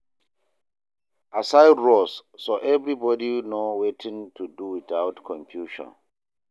Assign roles so everybody know wetin to do without confusion